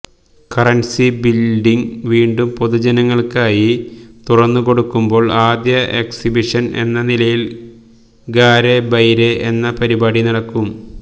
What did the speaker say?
currency building വീണ്ടും പൊതുജനങ്ങള്ക്കായി തുറന്നു കൊടുക്കുമ്പോള് ആദ്യ എക്സിബിഷന് എന്ന നിലയില് ഗാരെ ബൈരെ എന്ന പരിപാടി നടക്കും